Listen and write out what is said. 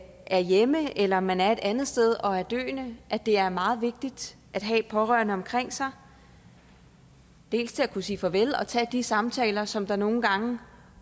er hjemme eller man er et andet sted og er døende at det er meget vigtigt at have pårørende omkring sig dels til at kunne sige farvel og tage de samtaler som der nogle gange